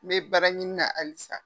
N bɛ baara ɲini na halisa